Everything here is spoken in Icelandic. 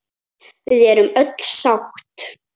Við erum öll sátt.